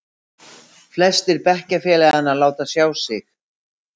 Flestir bekkjarfélaganna láta sjá sig.